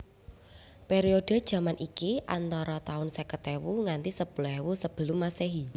Periode jaman iki antara taun seket ewu nganti sepuluh ewu Sebelum Masehi